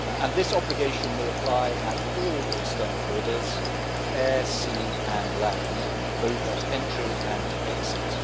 This obligation will apply at all external borders air, sea and land both at entry and exit.